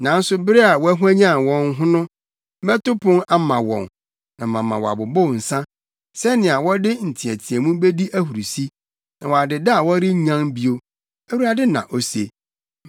Nanso bere a wɔahwanyan wɔn ho no, mɛto pon ama wɔn na mama wɔabobow nsa, sɛnea wɔde nteɛteɛmu bedi ahurusi, na wɔadeda a wɔrennyan bio,” Awurade na ose.